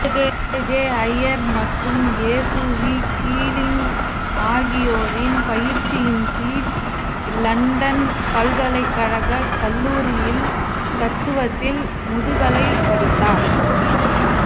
AJ Ayer மற்றும் SV Keeling ஆகியோரின் பயிற்சியின் கீழ் இலண்டன் பல்கலைக்கழகக் கல்லூரியில் தத்துவத்தில் முதுகலைப் படித்தார்